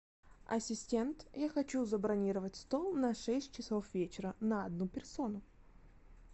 ассистент я хочу забронировать стол на шесть часов вечера на одну персону